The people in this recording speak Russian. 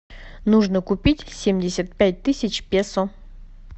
нужно купить семьдесят пять тысяч песо